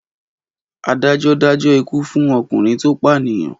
Adájọ́ dájọ́ ikú fún ọkùnrin tó pànìyàn?